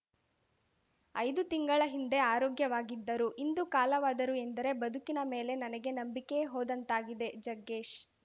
ಐದು ತಿಂಗಳ ಹಿಂದೆ ಆರೋಗ್ಯವಾಗಿದ್ದರು ಇಂದು ಕಾಲವಾದರು ಎಂದರೆ ಬದುಕಿನ ಮೇಲೆ ನನಗೆ ನಂಬಿಕೆಯೇ ಹೋದಂತಾಗಿದೆ ಜಗ್ಗೇಶ್‌